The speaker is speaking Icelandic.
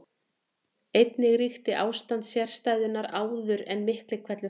Einnig ríkti ástand sérstæðunnar áður en Miklihvellur hófst.